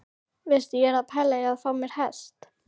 Veistu, ég er að pæla í að fá mér hest!